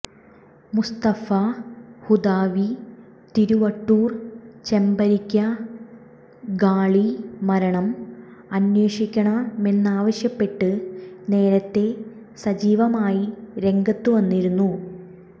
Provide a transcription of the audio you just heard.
മുസ്തഫ ഹുദവി തിരുവട്ടൂർ ചെമ്പരിക്ക ഖാളി മരണം അന്വേഷിക്കണമെന്നാവശ്യപ്പെട്ട് നേരത്തെ സജീവമായി രംഗത്തു വന്നിരുന്നു